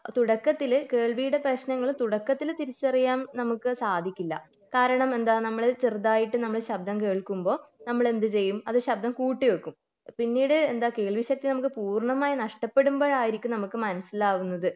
തുടക്കത്തിൽ കേൾവിടെ പ്രശ്നങ്ങൾ തുടക്കത്തിൽ തിരിച്ചറിയാൻ നമുക്ക് സാധിക്കില്ല കാരണം എന്താ നമ്മൾ ചെറുതെയിട്ട് നമ്മൾ ശബ്ദം കേൾക്കുമ്പോൾ നമ്മളെന്ത് ചെയ്യും അത് ശബ്ദം കൂട്ടി വെക്കും പിന്നീട് എന്താ കേൾവി ശക്തി നമുക്ക് പൂർണമായി നഷ്ടപ്പെടുമ്പോൾ ആയിരിക്കും നമുക്ക് മനസിലാവുന്നത്